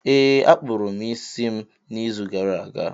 Ee, a kpụrụ m isi m n’izu gara aga.